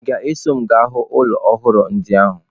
Ị ga-eso m gaa hụ ụlọ ọhụrụ ndị ahụ?